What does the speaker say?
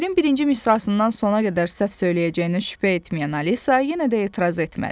Şeirin birinci misrasından sona qədər səhv söyləyəcəyinə şübhə etməyən Alisa yenə də etiraz etmədi.